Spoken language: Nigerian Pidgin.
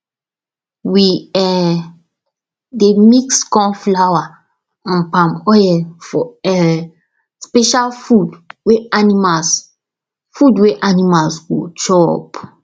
we um dey mix corn flour and palm oil for um special food wey animals food wey animals go chop